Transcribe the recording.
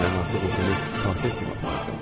Mən artıq heç kimə tabe etmək istəmirəm.